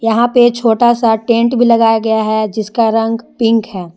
वहां पे छोटा सा टेंट भी लगाया गया है जिसका रंग पिंक है।